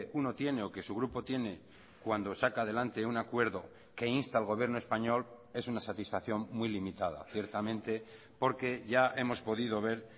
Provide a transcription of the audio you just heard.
uno tiene o que su grupo tiene cuando saca adelante un acuerdo que insta al gobierno español es una satisfacción muy limitada ciertamente porque ya hemos podido ver